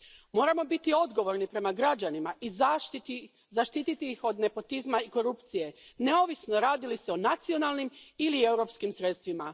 Moramo biti odgovorni prema građanima i zaštititi ih od nepotizma i korupcije, neovisno radi li se o nacionalnim ili europskim sredstvima.